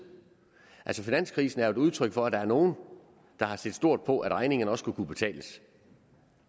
altså finanskrisen er jo et udtryk for at der er nogle der har set stort på at regningerne også skulle kunne betales